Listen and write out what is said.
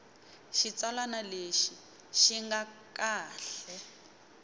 xitsalwana lexi xi nga kahle